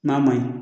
N'a ma ɲi